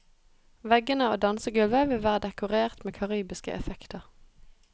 Veggene og dansegulvet vil være dekorert med karibiske effekter.